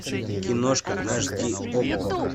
киношка аш ди окко